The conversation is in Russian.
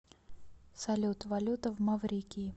салют валюта в маврикии